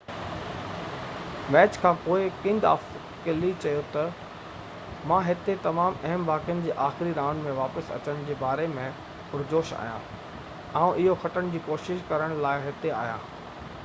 match کانپوءِ king of clay چيو ته مان هتي تمام اهم واقعن جي آخري رائونڊ ۾ واپس اچڻ جي باري ۾ پرجوش آهيان آئون اهو کٽڻ جي ڪوشش لاءِ هتي آهيان